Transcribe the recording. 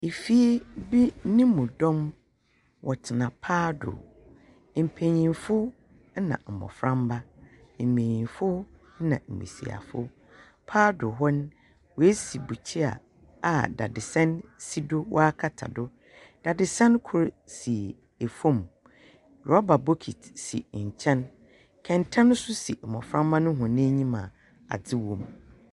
Efie bi nemu dɔm wɔtsena paado. Mpanyinfo na mmoframma, mbanyinfo na mbesiafo. Paado hɔ no wesi bukyia a dadesɛn si do a wakata do. Dadesɛn kor si efom, rɔba bokiti si nkyɛn, kɛntɛn so si mmoframma no wɔn enyim a adze wom.